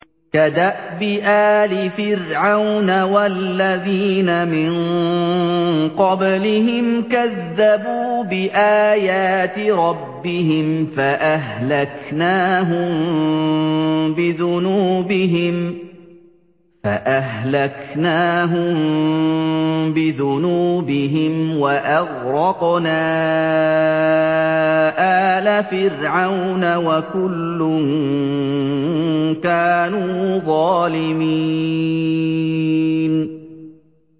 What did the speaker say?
كَدَأْبِ آلِ فِرْعَوْنَ ۙ وَالَّذِينَ مِن قَبْلِهِمْ ۚ كَذَّبُوا بِآيَاتِ رَبِّهِمْ فَأَهْلَكْنَاهُم بِذُنُوبِهِمْ وَأَغْرَقْنَا آلَ فِرْعَوْنَ ۚ وَكُلٌّ كَانُوا ظَالِمِينَ